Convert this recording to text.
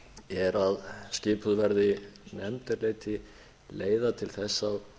er að skipuð verði nefnd er leiti leiða til þess að